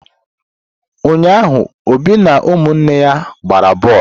Ụnyaahụ Obi na ụmụnne ya gbara boolu.